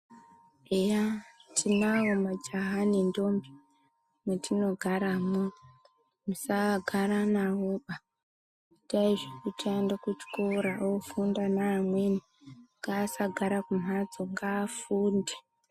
Eya tinawo majaha nendombi matinogaramo .Musagara navoba ,itai zvekuti aende kuchikora ofunda naamweni. Ngaasagara kumhatso ngaafunde.